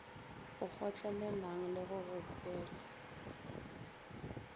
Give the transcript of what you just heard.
a kgotlelelang le go gopele